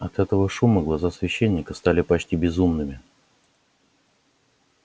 от этого шума глаза священника стали почти безумными